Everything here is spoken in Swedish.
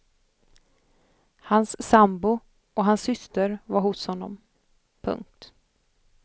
Hans sambo och hans syster var hos honom. punkt